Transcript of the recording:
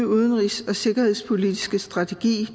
udenrigs og sikkerhedspolitiske strategi